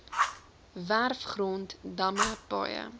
werfgrond damme paaie